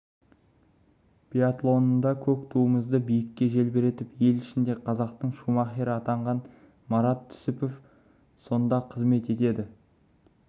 биатлонында көк туымызды биікте желбіретіп ел ішінде қазақтың шумахері атанған марат түсіпов сонда қызмет етеді